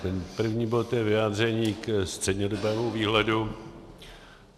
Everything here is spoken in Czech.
Ten první bod je vyjádření ke střednědobému výhledu.